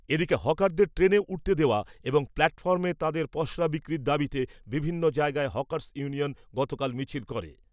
এদিকে, হকারদের ট্রেনে উঠতে দেওয়া এবং প্ল্যাটফর্মে তাঁদের পসরা বিক্রির দাবিতে বিভিন্ন জায়গায় হকার্স ইউনিয়ন গতকাল মিছিল করে।